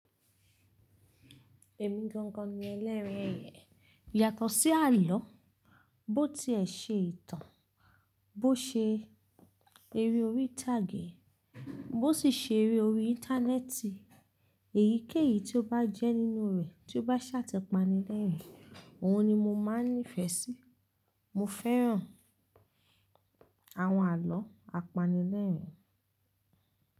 Èmi gangan ni ẹlẹ́ri eyẹ̀. Yàtọ̀ sí àlọ́, bó ti ẹ ṣe ìtàn, bó ṣe eré orí ìtàgé, bó sì ṣe eré orí Íńtánẹ́ẹ̀tì, èyíkéyìí tí ó bá jẹ́ nínú rẹ̀, tí ó bá ṣàti pànilẹ́rìn, òun ni mo máa ń nífẹ́ sí. Mo fẹ́ràn àwọn àlọ́ apanilẹ́rín.